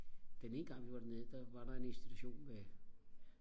den ene gang vi var dernede der var der en institution med